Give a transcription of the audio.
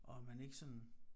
Og at man ikke sådan